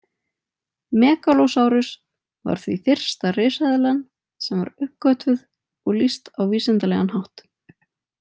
Megalosaurus var því fyrsta risaeðlan sem var uppgötvuð og lýst á vísindalegan hátt.